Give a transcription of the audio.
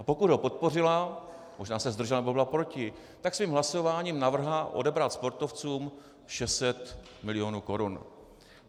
A pokud ho podpořila, možná se zdržela nebo byla proti, tak svým hlasováním navrhla odebrat sportovcům 600 milionů korun.